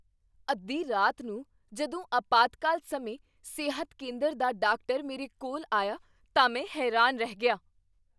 ਅੱਧੀ ਰਾਤ ਨੂੰ ਜਦੋਂ ਅਪਾਤਕਾਲ ਸਮੇਂ ਸਿਹਤ ਕੇਂਦਰ ਦਾ ਡਾਕਟਰ ਮੇਰੇ ਕੋਲ ਆਇਆ ਤਾਂ ਮੈਂ ਹੈਰਾਨ ਰਹਿ ਗਿਆ।